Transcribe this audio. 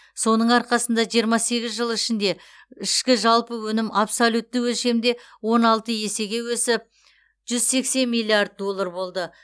соның арқасында жиырма сегіз жыл ішінде ішкі жалпы өнім абсолютті өлшемде он алты есеге өсіп жүз сексен миллиард доллар болды